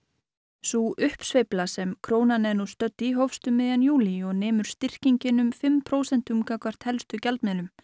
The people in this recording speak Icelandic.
sú uppsveifla sem krónan er nú stödd í hófst um miðjan júlí og nemur styrkingin um fimm prósent gagnvart helstu gjaldmiðlum